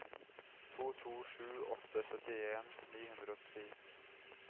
to to sju åtte syttien ni hundre og ti